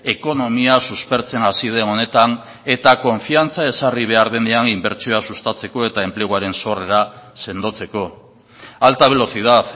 ekonomia suspertzen hasi den honetan eta konfiantza ezarri behar denean inbertsioa sustatzeko eta enpleguaren sorrera sendotzeko alta velocidad